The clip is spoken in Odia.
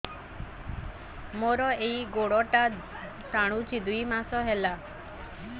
ମୋର ଏଇ ଗୋଡ଼ଟା ଟାଣୁଛି ଦୁଇ ମାସ ହେଲା